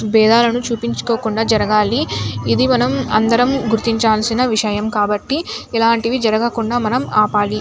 భేదాలను చూపించుకోకుండా జరగాలి. ఇది మనం అందరం గుర్తించాల్సిన విషయం కాబట్టి ఇలాంటివి జరగకుండా మనం ఆపాలి.